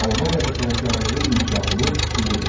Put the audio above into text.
Albaniyada sənətkarlığın inkişafını sübut et.